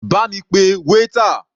Bá mi pe waiter.